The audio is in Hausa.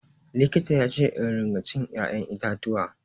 Likita yace in ringa cin ya'yan itatuwa.